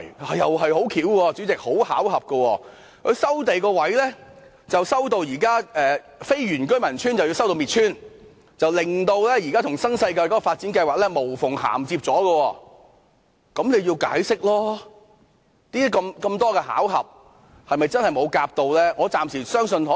主席，這亦十分巧合，現時收地範圍涵蓋非原居民的居所，令他們遭到"滅村"，而現時新世界的發展計劃卻可以無縫銜接，這樣就需要解釋，如此多巧合，是否真的沒有事前商討呢？